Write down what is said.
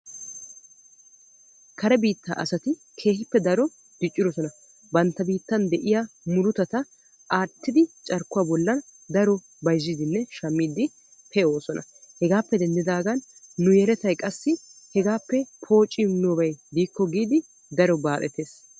Kare biitta asatti keehippe daro diccidosonna bantta biittan de'iya murutatta aattiddi carkkuwa bolla bayzzidde shamiidde pee'osonna hegaappe denddigan nu yelettay qassi hegaappe poociimiyoobay de'ikko giidi baxxetees.